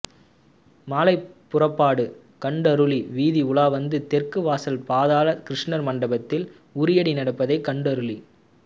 மாலை புறப்பாடு கண்டருளி வீதி உலாவந்து தெற்கு வாசல் பாதாள கிருஷ்ணர் மண்டபத்தில் உரியடி நடப்பதை கண்டருளி